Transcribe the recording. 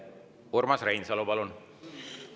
Urmas Reinsalu, palun!